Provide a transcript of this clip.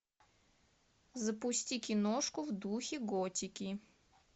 запусти киношку в духе готики